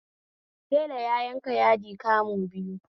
Tela ya yanka yadi kamu biyu